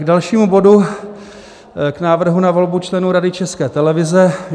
K dalšímu bodu, k návrhu na volbu členů Rady České televize.